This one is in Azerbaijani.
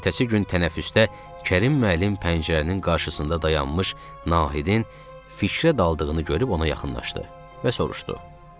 Ertəsi gün tənəffüsdə Kərim müəllim pəncərənin qarşısında dayanmış Nahidin fikrə daldığını görüb ona yaxınlaşdı və soruşdu: